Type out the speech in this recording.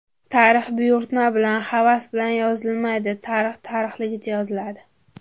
Tarix buyurtma bilan, havas bilan yozilmaydi, tarix tarixligicha yoziladi.